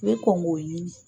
I bɛ kɔn k'o ɲini.